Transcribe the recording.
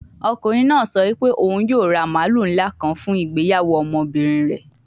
Ọkunrin naa sọ pe oun yoo ra maalu nla kan fun igbeyawo ọmọbirin rẹ